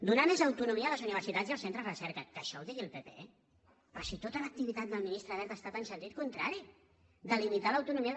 donar més autonomia a les universitats i els centres de recerca que això ho digui el pp però si tota l’activitat del ministre wert ha estat en sentit contrari delimitar l’autonomia